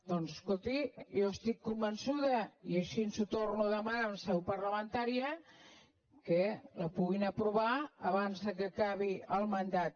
doncs escolti jo estic convençuda i així ho torno a demanar en seu parlamentària que la puguin aprovar abans que acabi el mandat